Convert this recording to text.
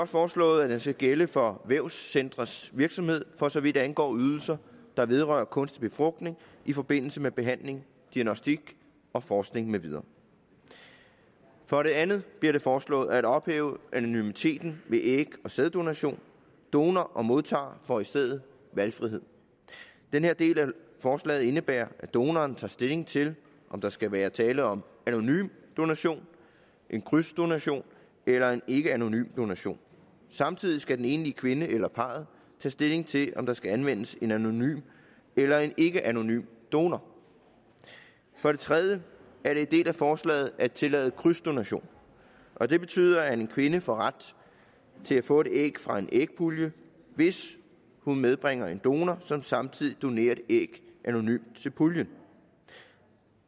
foreslået at den skal gælde for vævscentres virksomhed for så vidt angår ydelser der vedrører kunstig befrugtning i forbindelse med behandling diagnostik og forskning med videre for det andet bliver det foreslået at ophæve anonymiteten ved æg og sæddonation donor og modtager får i stedet valgfrihed den her del af forslaget indebærer at donoren tager stilling til om der skal være tale om anonym donation krydsdonation eller ikkeanonym donation samtidig skal den enlige kvinde eller parret tage stilling til om der skal anvendes en anonym eller en ikkeanonym donor for det tredje er det en del af forslaget at tillade krydsdonation og det betyder at en kvinde får ret til at få et æg fra en ægpulje hvis hun medbringer en donor som samtidig donerer et æg anonymt til puljen